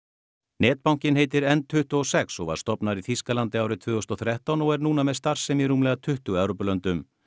netbankinn heitir n tuttugu og sex og var stofnaður í Þýskalandi árið tvö þúsund og þrettán og er núna með starfsemi í rúmlega tuttugu Evrópulöndum